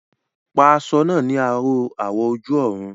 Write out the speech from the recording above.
Pa aṣọ náà ní aró awọ̀ ojú-ọ̀run